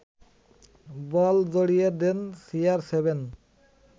বল জড়িয়ে দেন সিআরসেভেন